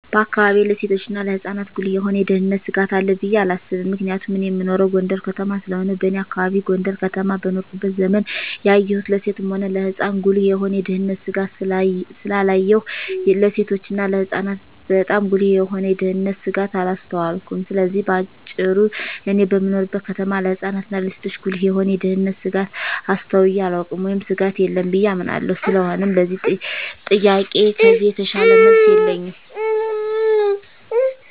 በአካባቢየ ለሴቶችና ለህጻናት ጉልህ የሆነ የደህንነት ስጋት አለ ብየ አላስብም ምክንያቱም እኔ እምኖረው ጎንደር ከተማ ስለሆነ በኔ አካባቢ ጎንደር ከተማ በኖርኩበት ዘመን ያየሁን ለሴትም ሆነ ለህጻን ጉልህ የሆነ የደህንነት ስጋት ስላላየሁ ለሴቶችና ለህጻናት ባጣም ጉልህ የሆነ የደንነት ስጋት አላስተዋልኩም ስለዚህ በአጭሩ እኔ በምኖርበት ከተማ ለህጻናት እና ለሴቶች ጉልህ የሆነ የደህንነት ስጋት አስተውየ አላውቅም ወይም ስጋት የለም ብየ አምናለሁ ስለሆነም ለዚህ ጥያቄ ከዚህ የተሻለ መልስ የለኝም።